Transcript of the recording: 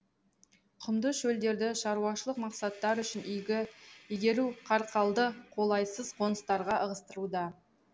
құмды шөлдерді шаруашылық мақсаттар үшін игеру қарақалды қолайсыз қоныстарға ығыстыруда